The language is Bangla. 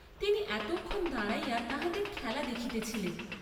তিনি এতক্ষণ দাঁড়াইয়া তাহাদের খেলা দেখিতেছিলেন।